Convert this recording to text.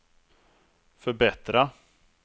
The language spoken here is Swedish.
förbättra